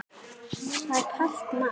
Það er kalt mat.